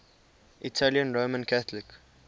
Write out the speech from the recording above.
italian roman catholic